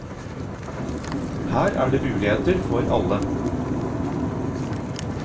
Her er det muligheter for alle.